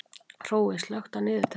Hrói, slökktu á niðurteljaranum.